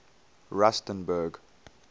rustenburg